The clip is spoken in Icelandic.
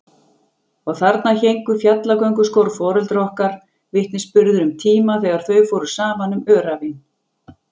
Og þarna héngu fjallgönguskór foreldra okkar, vitnisburður um tíma þegar þau fóru saman um öræfin.